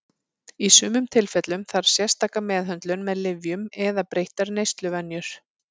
Í sumum tilfellum þarf sérstaka meðhöndlun með lyfjum eða breyttar neysluvenjur.